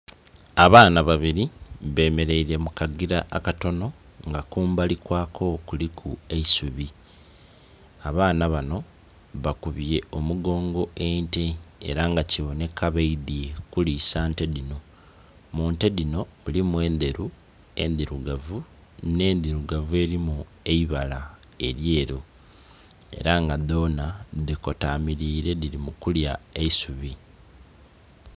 Abaana babiri bemereire mukagira akatonho nga kumbali kwako kuliku eisuubi, abaana banho bakubye omugongo ente era nga kibonheka badhye kulisa nte dhinho. Munte dhinho mulimu enderu, endhirugavu nhe ndirugavu erimu eibala elyeru era dhonha dhiko tamirire dhirikulya eisuubi.